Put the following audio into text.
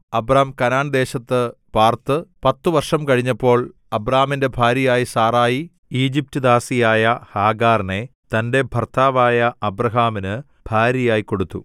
Abram കനാൻദേശത്ത് പാർത്ത് പത്തു വർഷം കഴിഞ്ഞപ്പോൾ അബ്രാമിന്റെ ഭാര്യയായ സാറായി ഈജിപ്റ്റുദാസിയായ ഹാഗാറിനെ തന്റെ ഭർത്താവായ അബ്രാമിനു ഭാര്യയായി കൊടുത്തു